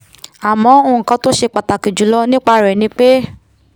àmọ́ nkan tó ṣe pàtàkì jùlọ nípa rẹ̀ ni pé